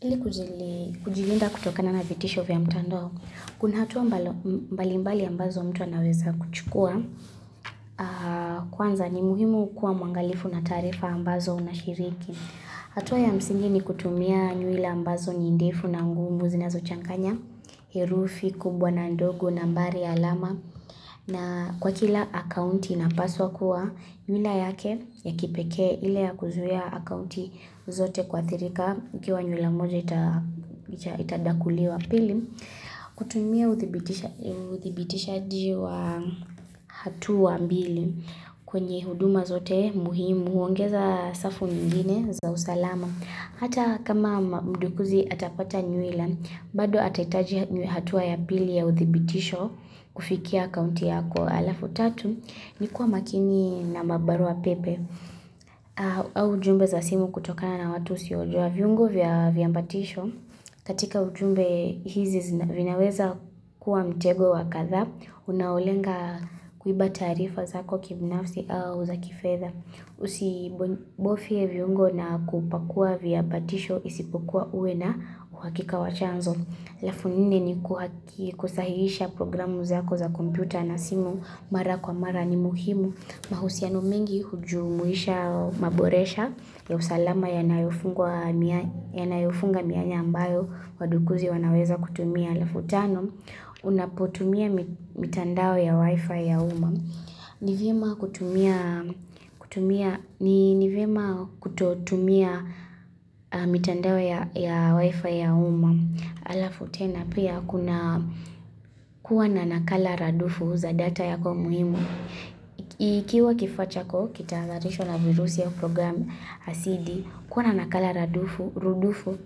Ili kujilinda kutokana na vitisho vya mtando, kuna hatua mbalimbali ambazo mtu anaweza kuchukua, kwanza ni muhimu kuwa mwangalifu na taarifa ambazo unashiriki. Hatua ya msingi ni kutumia nywila ambazo ni ndefu na ngumu zinazochanganya, herufi kubwa na ndogo nambari alama. Na kwa kila akaunti inapaswa kuwa nywila yake ya kipekee ile ya kuzuia akaunti zote kuathirika ikiwa nywila moja itadakuliwa pili kutumia uthibitishaji wa hatua mbili kwenye huduma zote muhimu huongeza safu vivinye za usalama hata kama mdukuzi atapata nywila bado atahitaji hatua ya pili ya uthibitisho kufikia akaunti yako halafu tatu ni kuwa makini na mabarua pepe au ujumbe za simu kutokana na watu usiowajua viungo vya vya ambatisho katika ujumbe hizi vinaweza kuwa mtego wa kadhaa unaolenga kuiba taarifa zako kibinafsi au za kifedha usibofye viungo na kupakua viambatisho isipokuwa uwe na uhakika wa chanzo alafu nne ni kuhaki kusahihisha programu zako za kompyuta na simu mara kwa mara ni muhimu. Mahusiano mengi hujumuisha maboresha ya usalama yanayofunga mianya ambayo wadukuzi wanaweza kutumia. Alafu tano, unapotumia mitandao ya wi-fi ya uma. Ni vyema kutumia kutumia ni ni vyema kutotumia mitandao ya wi-fi ya uma. Alafu tena pia kuna kuwa na nakala radufu za data yako muhimu. Ikiwa kifaa chako kitahadharishwa na virusi vya program asidi kuwa na nakala radufu, rudufu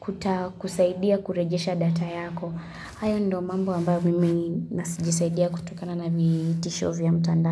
kutakusaidia kurejesha data yako. Hayo ndo mambo ambayo mimi nasi jisaidia kutokana na vitisho vya mtandao.